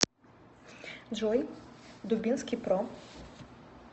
джой дубинский про